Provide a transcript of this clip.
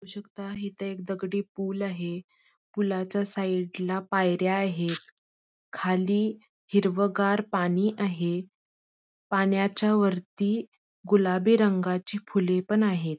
बघू शकता इथ एक दगडी पूल आहे पुलाच्या साईडला पायऱ्या आहेत खाली हिरवगार पाणी आहे पाण्याच्या वरती गुलाबी रंगाची फुले पण आहेत.